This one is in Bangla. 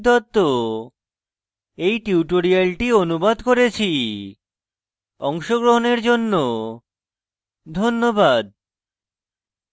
অংশগ্রহনের জন্য ধন্যবাদ